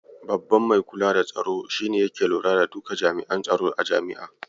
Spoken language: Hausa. Babban mai kula da tsaro shi ne yake lura da duka jami'an tsaro a jami'a.